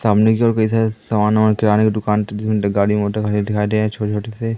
सामने की ओर कई सारे सामान वमान किराने की दुकान धुंध गाड़ी मोटर हमे दिखाई दे रहे हैं छोटे-छोटे से--